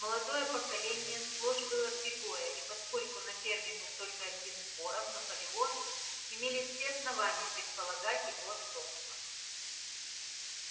молодое поколение сплошь было пегое и поскольку на ферме был только один боров наполеон имелись все основания предполагать его отцовство